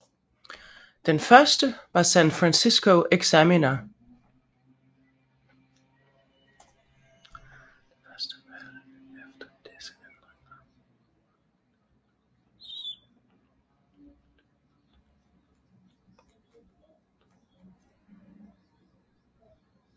Det første valg efter disse ændringer var i 1937